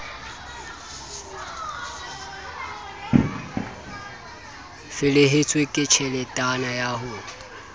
felehetswe ke tjheletana ya ho